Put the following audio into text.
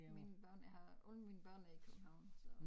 Mine børn er alle mine børn er i København så